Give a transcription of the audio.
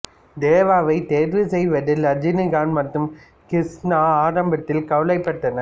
தேவாவை தேர்வு செய்வதில் ரஜினிகாந்த் மற்றும் கிருஷ்ணா ஆரம்பத்தில் கவலைப்பட்டனர்